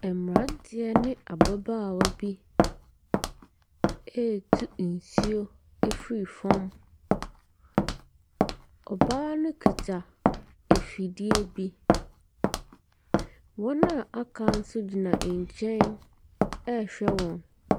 Ɛmmeranteɛ ne ababaawa bi eetu nsuo efri fɔm. Ɔbaa no kuta afidie bi, wɔn a aka nso gyina nkyɛn ɛɛhwɛ wɔn.